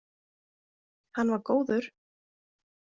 Hann var góður.